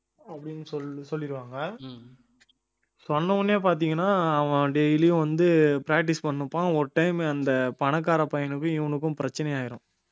அப்படின்னு சொல்லிடுவாங்க சொன்ன உடனே பாத்தீங்கன்னா அவன் daily யும் வந்து practice பண்ணிட்டிருப்பான் ஒரு time அந்த பணக்கார பையனுக்கும் இவனுக்கும் பிரச்சனை ஆயிரும்